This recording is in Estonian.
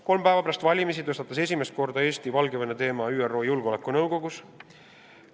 Kolm päeva pärast valimisi tõstatas Eesti esimest korda Valgevene teema ka ÜRO Julgeolekunõukogus.